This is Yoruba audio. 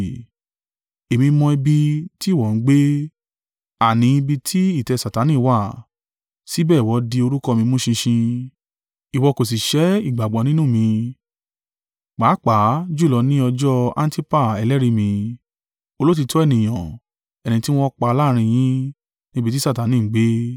Èmí mọ̀ ibi tí ìwọ ń gbé, àní ibi tí ìtẹ́ Satani wà. Síbẹ̀ ìwọ di orúkọ mi mú ṣinṣin. Ìwọ kò sì sẹ́ ìgbàgbọ́ nínú mi, pàápàá jùlọ ni ọjọ́ Antipa ẹlẹ́rìí mi, olóòtítọ́ ènìyàn, ẹni tí wọn pa láàrín yín, níbi tí Satani ń gbé.